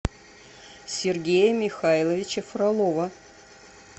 сергея михайловича фролова